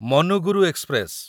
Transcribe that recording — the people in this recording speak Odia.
ମନୁଗୁରୁ ଏକ୍ସପ୍ରେସ